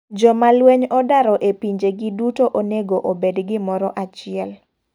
Joma lweny odaro e pinje gi duto onego obed gimoro achiel.